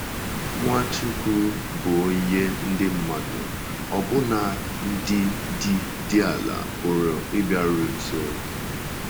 Nwachukwu bụ onye ndị mmadụ, ọbụna ndị dị dị ala, pụrụ ịbịaru nso.